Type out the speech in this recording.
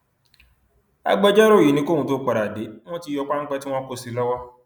agbẹjọrò yìí ni kí òun tóó padà dé wọn ti yọ páńpẹ tí wọn kó sí i lọwọ